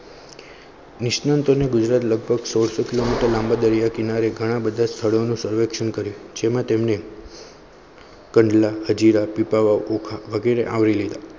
નિષ્ણાતોને ગુજરાત લગભગ સો સો કિલોમીટર લાંબા દરિયા કિનારે ઘણા બધા સ્થળોનું સર્વેક્ષણ કરી જેમાં તેમને કંડલા હજીરા પીપાવાવ. ઓખા વગેરે આવરી લીધા